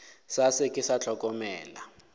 sa se ke sa hlokomela